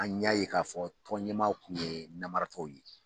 An ɲa ye k'a fɔ tɔn ɲɛmaw kun ye namaratɔw ye.